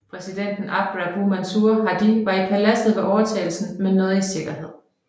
Præsidenten Abd Rabbuh Mansur Hadi var i paladset ved overtagelsen men nåede i sikkerhed